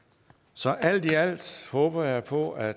så alt i alt håber jeg på at